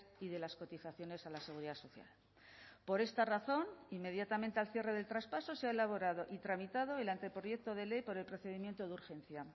y de las cotizaciones a la seguridad social por esta razón inmediatamente al cierre del traspaso se ha elaborado y tramitado el anteproyecto de ley por el procedimiento de urgencia